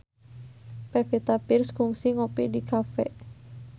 Pevita Pearce kungsi ngopi di cafe